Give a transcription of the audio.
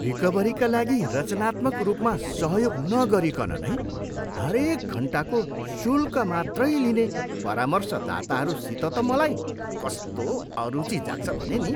रिकभरीका लागि रचनात्मक रूपमा सहयोग नगरीकन नै हरेक घन्टाको शूल्क मात्रै लिने परामर्शदाताहरूसित त मलाई कस्तो अरूचि जाग्छ भने नि।